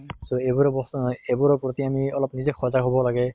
so এইবোৰৰ বস্তু অ এইবোৰৰ প্ৰতি আমি অলপ নিজে সজাগ হʼব লাগে